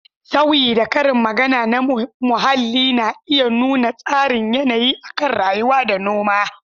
Sauyi da Karin magana na muhalli na iya nuna tasirin yanayi akan rayuwa da noma.